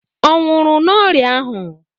Ọ nwụrụ n'ọrịa ahụ?